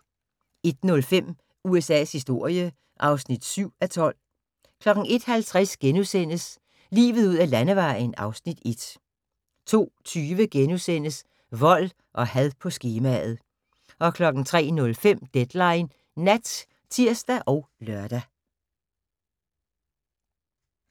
01:05: USA's historie (7:12) 01:50: Livet ud ad landevejen (Afs. 1)* 02:20: Vold og had på skemaet * 03:05: Deadline Nat (tir og lør)